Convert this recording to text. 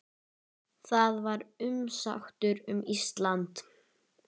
Það var umsátur um Ísland.